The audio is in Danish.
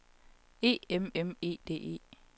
E M M E D E